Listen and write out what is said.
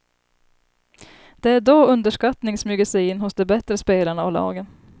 Det är då underskattning smyger sig in hos de bättre spelarna och lagen.